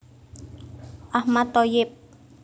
Ahmad Thoyyib